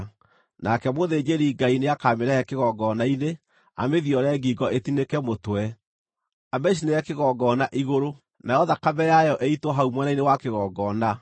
Nake mũthĩnjĩri-Ngai nĩakamĩrehe kĩgongona-inĩ, amĩthiore ngingo ĩtinĩke mũtwe, amĩcinĩre kĩgongona igũrũ; nayo thakame yayo ĩitwo hau mwena-inĩ wa kĩgongona.